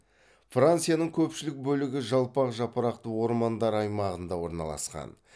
францияның көпшілік бөлігі жалпақ жапырақты ормандар аймағында орналасқан